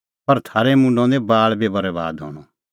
पर थारै मुंडो निं बाल़ बी बरैबाद हणअ